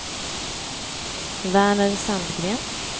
Verner Sandgren